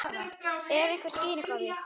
Er einhver skýring á því?